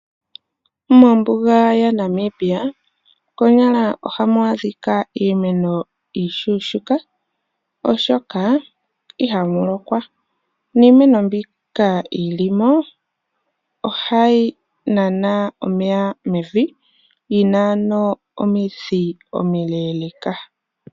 Mombuga yaNamibia konyala ohamu adhika iimeno iishona oahoka ihamu lokwa niimeno mbyoka yi limo ohayi nana omeya mevi yina ano omidhi omileeleka.